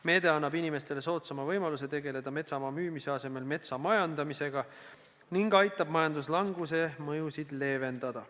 Meede annab inimestele soodsama võimaluse tegeleda metsamaa müümise asemel metsa majandamisega ning aitab majanduslanguse mõjusid leevendada.